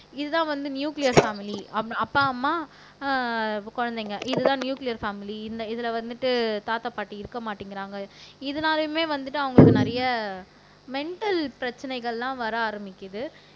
இதுதான் வந்து nuclear family அப்பா அம்மா அஹ் குழந்தைங்க இதுதான் நியூளியர் பேமிலி இந்த இதுல வந்துட்டு தாத்தா பாட்டி இருக்க மாட்டிங்கறாங்க இதனாலயுமே வந்துட்டு அவங்களுக்கு நிறைய மெண்டல் பிரச்சனைகள் எல்லாம் வர ஆரம்பிக்குது